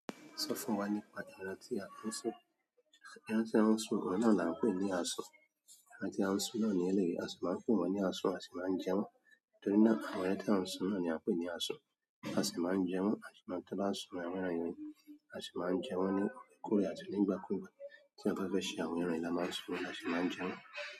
Sọ fún wa nípa ẹran tí a ń sun. Ẹran tí a ń sun oun náà là ń pè ní asun. Ẹran tí a ń sun náà ni ẹlẹ́yìí, a sì máa ń pè wọ́n ní asun a sì máa ń jẹ wọ́n. Torí náà ẹran tí a ń sun náà ni a ń pè ní asun. A sì máa ń jẹ wọ́n, a sì máa ń tá bàá n sun àwọn ẹran yen, a sì máa ń jẹ wọ́n ní òrekoorè àti ní ìgbà kúgbà tí eyan bá fẹ́ ṣe àwọn ẹran yìí la máa ń sun wọ́n, a sì máa ń jẹ wọ́n.